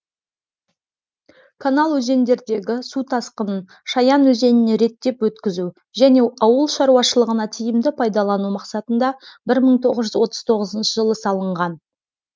канал өзендердегі су тасқынын шаян өзеніне реттеп өткізу және ауыл шаруашылығына тиімді пайдалану мақсатында бір мың тоғыз жүз отыз тоғызыншы жылы салынған